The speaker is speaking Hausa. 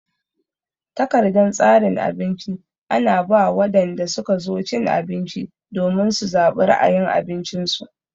Takardan tsarin abinci ana ba wadanda suka zo cin abinci domin su zabi ra'ayin abincin su.